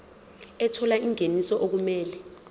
ethola ingeniso okumele